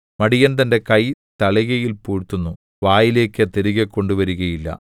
മടിയൻ തന്റെ കൈ തളികയിൽ പൂഴ്ത്തുന്നു വായിലേക്ക് തിരികെ കൊണ്ടുവരുകയില്ല